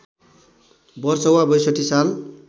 वर्ष वा ६२ साल